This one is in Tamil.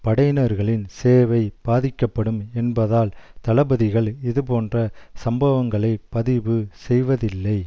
படையினர்களின் சேவை பாதிக்கப்படும் என்பதால் தளபதிகள் இதுபோன்ற சம்பவங்களை பதிவு செய்வதில்லை